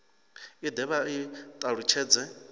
i de vha i talutshedze